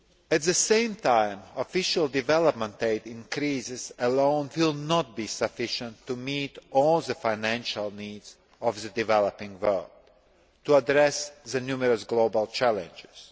At the same time, Official Development Aid increases alone will not be sufficient to meet all the financing needs of the developing world, to address the numerous global challenges.